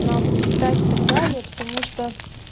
нахуй метать и так далее потому что